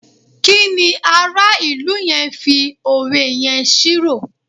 kíni ara ilu yẹn fi òwe yẹn ṣírò